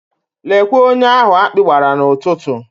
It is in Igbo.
Lekwe onye ahụ akpị gbara n'ụtụtụ.